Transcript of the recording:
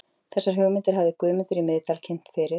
Þessar hugmyndir hafði Guðmundur í Miðdal kynnt fyrir